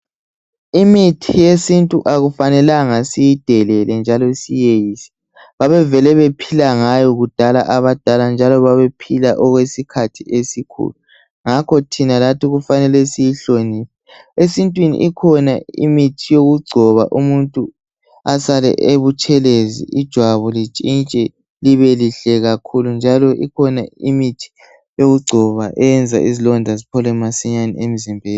lmithi yesintu akufanelanga siyidelele njalo siyeyise. Babevele bephila ngayo kudala abadala njalo babephila okwesikhathi esikhulu. Ngakho thina lathi kufanele siyhloniphe. Esintwini ikhona imithi yokugcoba umuntu asale ebutshelezi ijwabu litshintshe libe lihle kakhulu njalo ikhona imithi eyokugcoba eyenza izilonda ziphole masinyane emzimbeni.